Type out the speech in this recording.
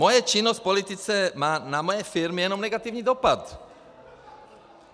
Moje činnost v politice má na moje firmy jenom negativní dopad.